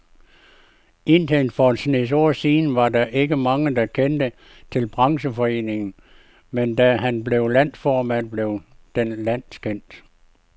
Indtil for en snes år siden var der ikke mange, der kendte til brancheforeningen, men da han blev landsformand, blev den landskendt.